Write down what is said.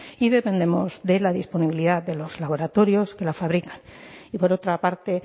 y dependemos de la disponibilidad de los laboratorios que la fabrican y por otra parte